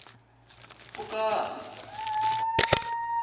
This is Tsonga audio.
pfukani